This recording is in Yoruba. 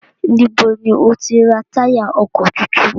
Níbo ni o ti ra táyà ọkọ̀ tuntun?